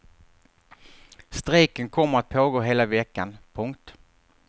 Strejken kommer att pågå hela veckan. punkt